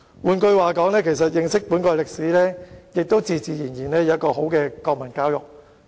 "換句話說，只要令國民認識本國歷史，自然有好的國民教育。